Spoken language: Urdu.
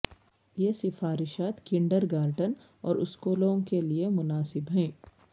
یہ سفارشات کنڈرگارٹن اور اسکولوں کے لئے مناسب ہیں